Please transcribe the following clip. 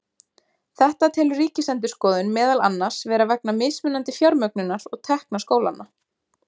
Þetta telur Ríkisendurskoðun meðal annars vera vegna mismunandi fjármögnunar og tekna skólanna.